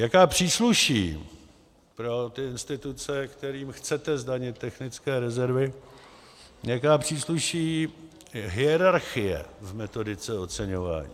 Jaká přísluší pro ty instituce, kterým chcete zdanit technické rezervy, jaká přísluší hierarchie v metodice oceňování?